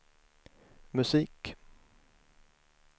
musik